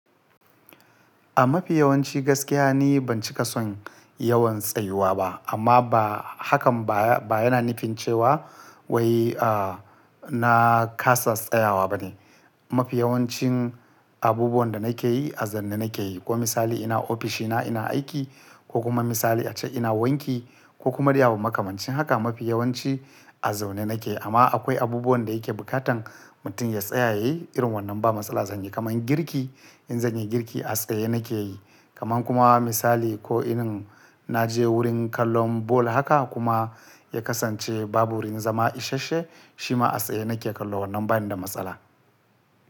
A mafi yawanci gaskiya ni ban ci ƙasan yawan tsayuwa ba amma ba hakan ba yana nufin cewa wai a na ƙasas tsayawa bane. Mafi yawancin abubuwan da nake yi a zaune nake yi. Ko misali ina ofishi na ina aiki ko kuma misali ace ina wanki ko kuma riya wa makamancin haka mafi yawanci a zaune nake. Amma akwai abubuwan da yake bukatan mutum ya tsaya ya yi irin wannan ba matsala zanyi kaman girki in zanyi girki a tsaye nake yi. Kaman kuma misali ko in na je wurin kallon bol haka kuma ya kasance babur in zama isashe shi ma a tsaye nake kallo wannan bani da matsala.